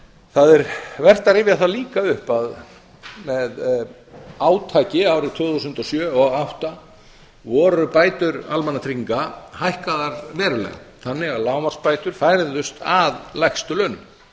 það er líka vert að rifja það upp að með átaki árið tvö þúsund og sjö og tvö þúsund og átta voru bætur almannatrygginga hækkaðar verulega þannig að lágmarksbætur færðust að lægstu launum